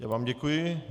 Já vám děkuji.